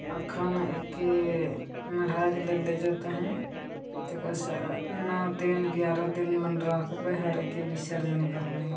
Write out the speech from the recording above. अखन है के मडहा ले ले जाते है तेखर से ह नौ दिन ग्यारह दिन मां राख बे हरे के विसर्जन करबे--